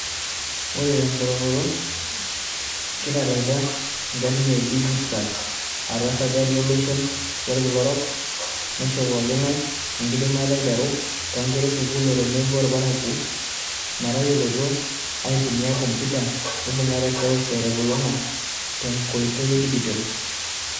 Oree temponaroto, kitalaaitia ingarin e DigiTruck atua esajati ooloshon lolkila orok, neishoo pooking'ay enkidimata aiteru too nkera esukul oo tenebo ilparakua metayoloito aitumia kompuyuta neibungare seuse telulongata tenkoitoi e dijitol.